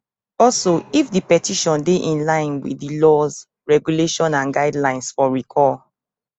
also if di petition dey in line wit di laws regulations and guidelines for recall